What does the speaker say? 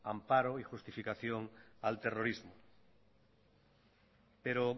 amparo y justificación al terrorismo pero